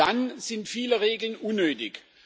Dann sind viele Regeln unnötig.